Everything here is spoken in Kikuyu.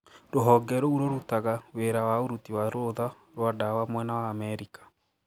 Rũhonge roû rorutaga wira wa ũruti wa rũũtha rwa dawa mwena wa Amerika.